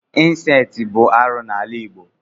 incesti bụ arụ n'ala igbo.